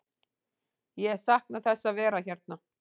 Ég sakna þess að vera hérna.